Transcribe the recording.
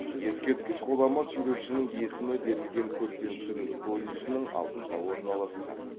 ескерткіш ғұлама суретшінің есімі берілген көркемсурет колледжінің алдында орналасқан